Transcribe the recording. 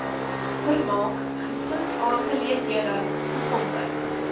vermaak gesinsaangeleenthede gesondheid